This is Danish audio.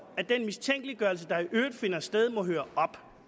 at den mistænkeliggørelse der i øvrigt finder sted må høre